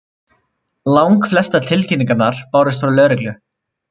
Langflestar tilkynningarnar bárust frá lögreglu